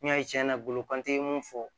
N'i y'a ye tiɲɛ na olu kante mun fɔ